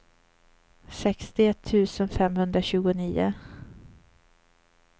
sextioett tusen femhundratjugonio